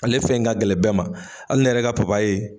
Ale fɛn in ka gɛlɛn bɛɛ ma, hali ne yɛrɛ ka papayi